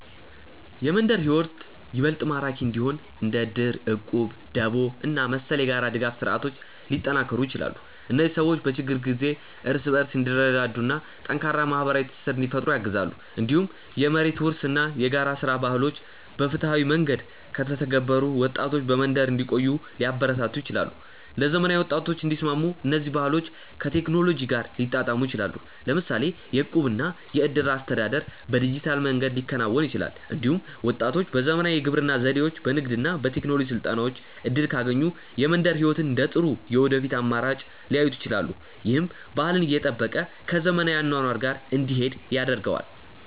የመንደር ሕይወት ይበልጥ ማራኪ እንዲሆን እንደ እድር፣ እቁብ፣ ደቦ እና መሰል የጋራ ድጋፍ ስርዓቶች ሊጠናከሩ ይችላሉ። እነዚህ ሰዎች በችግር ጊዜ እርስ በርስ እንዲረዳዱ እና ጠንካራ ማህበራዊ ትስስር እንዲፈጥሩ ያግዛሉ። እንዲሁም የመሬት ውርስ እና የጋራ ሥራ ባህሎች በፍትሃዊ መንገድ ከተተገበሩ ወጣቶች በመንደር እንዲቆዩ ሊያበረታቱ ይችላሉ። ለዘመናዊ ወጣቶች እንዲስማሙ እነዚህ ባህሎች ከቴክኖሎጂ ጋር ሊጣጣሙ ይችላሉ። ለምሳሌ የእቁብ እና የእድር አስተዳደር በዲጂታል መንገድ ሊከናወን ይችላል። እንዲሁም ወጣቶች በዘመናዊ የግብርና ዘዴዎች፣ በንግድ እና በቴክኖሎጂ ስልጠናዎች እድል ካገኙ የመንደር ሕይወትን እንደ ጥሩ የወደፊት አማራጭ ሊያዩት ይችላሉ። ይህም ባህልን እየጠበቀ ከዘመናዊ አኗኗር ጋር እንዲሄድ ያደርገዋል።